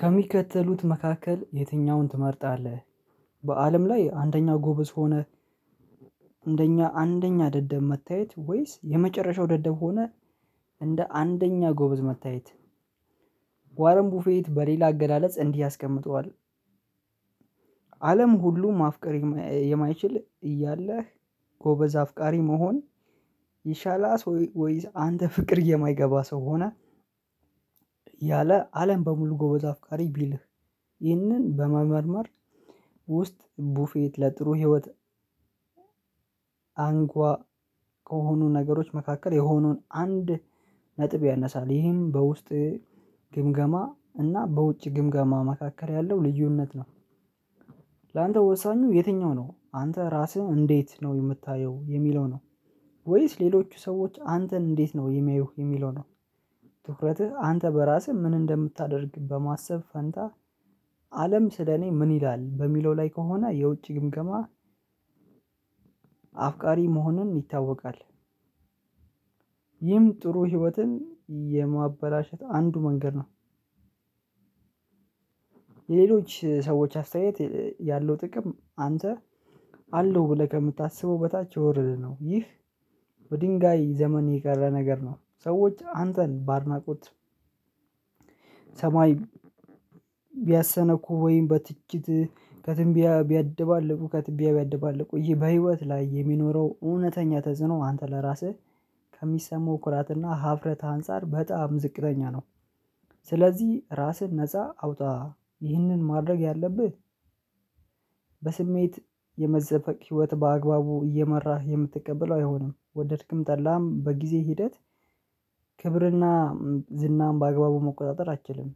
ከሚከተሉት መካከል የትኛውን ትመርጣለህ? በአለም ላይ አንደኛ ጎበዝ ሆነህ። እንደኛ አንደኛ ደደብ መታየት ወይስ የመጨረሻው ደደብ ሆነ እንደ አንደኛ ጎበዝ መታየት? ዋረን ቡፌት በሌላ አገላለጽ እንዲህ ያስቀምጥዋል። አለም ሁሉ ማፍቀር የማይችል እያለህ ጎበዝ አፍቃሪ መሆን። ይሻላስ ወይዝ አንተ ፍቅር የማይገባ ሰው ሆነ። ያለ አለም በሙሉ ጎበዝ አፍቃሪ ቢልህ። ይህንን በመመርመር ውስጥ ቡፌት ለጥሩ ህይወት። አንኳ ከሆኑ ነገሮች መካከል የሆኑን አንድ ነጥብ ያነሳል ይሄም በውስጥ ግምገማ እና በውጭ ግምገማ መካከል ያለው ልዩነት ነው። ላንተ ወሳኙ የትኛው ነው አንተ ራስህን እንዴት ነው የምታየው የሚለው ነው? ወይስ ሌሎቹ ሰዎች አንተን እንዴት ነው የሚያዩህ የሚለው ነው? ትኩረትህ አንተ በራስህ ምን እንደምታደርግ በማሰብ ፈንታ አለም ስለኔ ምን ይላል በሚለው ላይ ከሆነ የውጪ ግምገማ። አፍቃሪ መሆኑን ይታወቃል። ይህም ጥሩ ህይወትን የማበላሸት አንዱ መንገድ ነው። የሌሎች ሰዎች አስተያየት ያለው ጥቅም አንተ አለው ብለህ ከምታስበው በታች የወረደ ነው ይህ። በድንጋይ ዘመን የቀረ ነገር ነው ሰዎች አንተን በአድናቆት። ሰማይ ቢያሰነኩ ወይም በትችት ከትምቢያ ቢያደባልቁ ከትቢያ ቢያደባልቁህ ይህ በህይወት ላይ የሚኖረው እውነተኛ ተጽዕኖ አንተ ለራስህ ከሚሰማው ኩራትና ሀፍረት አንፃር በጣም ዝቅተኛ ነው። ስለዚህ ራስህን ነፃ አውጣ ይህንን ማድረግ ያለብህ። በስሜት የመዘፈቅ ህይወት በአግባቡ እየመራህ የምትቀበለው አይሆንም ወደድህም ጠላም በጊዜ ሂደት ክብርና ዝናም በአግባቡ መቆጣጠር አትችልም።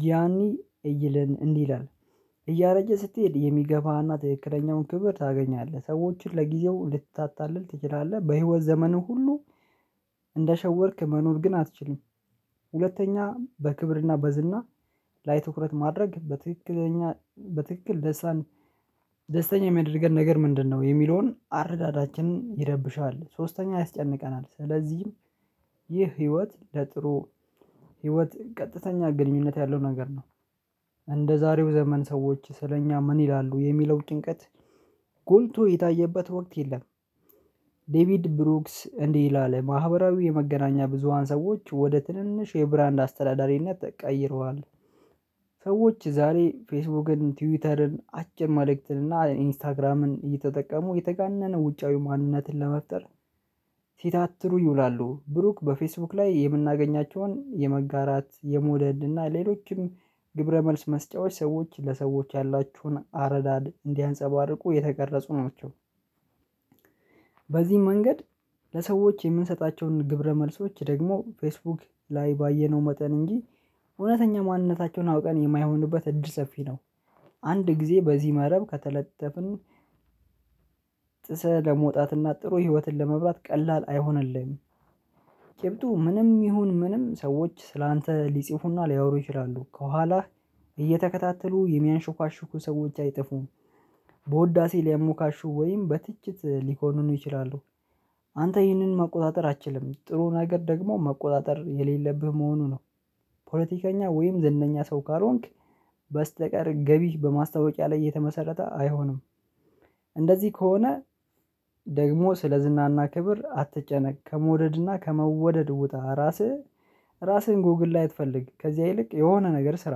ጊያኒ እይልን እንዲህ ይላል። እያረጀህ ስትሄድ የሚገባህና ትክክለኛውን ክብር ታገኛለህ ሰዎችን ለጊዜው ልታታልል ትችላለህ በህይወት ዘመንህ ሁሉ እንደሸወድክ መኖር ግን አትችልም። ሁለተኛ በክብርና በዝና ላይ ትኩረት ማድረግ በትክክለኛ በትክክል ደስታን ደስተኛ የሚያደርገን ነገር ምንድነው የሚለውን አረዳዳችንን ይረብሻል። ሶስተኛ ያስጨንቀናል ስለዚህም ይህ ህይወት ለጥሩ ህይወት ቀጥተኛ ግንኙነት ያለው ነገር ነው። እንደዛሬው ዘመን ሰዎች ስለኛ ምን ይላሉ የሚለው ጭንቀት ጎልቶ የታየበት ወቅት የለም። ዴቪድ ብሩክስ እንዲህ ይላል ማህበራዊ የመገናኛ ብዙሃን ሰዎች ወደ ትንንሽ የብራንድ አስተዳዳሪነት ተቀይረዋል። ሰዎች ዛሬ ፌስቡክን ትዊተርን አጭር ማድረግን እና ኢንስታግራምን እየተጠቀሙ የተጋነነ ውጫዊ ማንነትን ለመፍጠር። ሲታተሩ ይውላሉ ብሩክ በፌስቡክ ላይ የምናገኛቸውን የመጋራት የመውደድ እና ሌሎችም ግብረ መልስ መስጫዎች ሰዎች ለሰዎች ያላችሁን አረዳድ እንዲያንፀባርቁ የተቀረፁ ናቸው። በዚህም መንገድ ለሰዎች የምንሰጣቸውን ግብረ መልሶች ደግሞ ፌስቡክ ላይ ባየነው መጠን እንጂ እውነተኛ ማንነታቸውን አውቀን የማይሆንበት እድል ሰፊ ነው። አንድ ጊዜ በዚህ መረብ ከተለጠፍን። ጥሰህ ለመውጣትና ጥሩ ህይወትን ለመምራት ቀላል አይሆንልህም። ጭብጡ ምንም ይሁን ምንም ሰዎች ስላንተ ሊጽፉና ሊያወሩ ይችላሉ ከኋላ እየተከታተሉ የሚያንሾካሹኩ ሰዎች አይጠፉም። በውዳሴ ሊያሞካሹ ወይም በትችት ሊኮንኑህ ይችላሉ። አንተ ይህንን መቆጣጠር አትችልም ጥሩ ነገር ደግሞ መቆጣጠር የሌለብህ መሆኑ ነው። ፖለቲከኛ ወይም ዝነኛ ሰው ካልሆንክ በስተቀር ገቢህ በማስታወቂያ ላይ እየተመሰረተ አይሆንም። እንደዚህ ከሆነ ደግሞ ስለ ዝናና ክብር አትጨነቅ ከመውደድና ከመውደድ ውጣ ራስህ ራስህን ጎግል ላይ አትፈልግ ከዚያ ይልቅ የሆነ ነገር ስራ።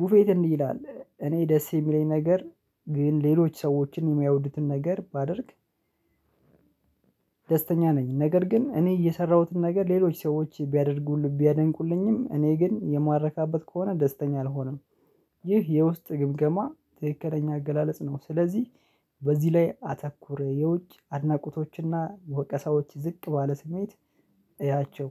ቡፌት እንዲህ ይላል እኔ ደስ የሚለኝ ነገር ግን ሌሎች ሰዎችን የማያወዱትን ነገር ባደርግ። ደስተኛ ነኝ ነገር ግን እኔ እየሰራሁትን ነገር ሌሎች ሰዎች ቢያደርጉልኝ ቢያደንቁልኝም እኔ ግን የማረካበት ከሆነ ደስተኛ አልሆንም። ይህ የውስጥ ግምገማ ትክክለኛ አገላለጽ ነው ስለዚህ። በዚህ ላይ አተኩር የውጭ አድናቆቶችና ወቀሳዎች ዝቅ ባለ ስሜት እያቸው።